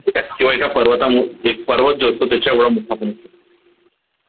ठीक आहे किंवा एका पर्वता एक पर्वत जो असतो त्याच्या एवढा मोठा पण असतो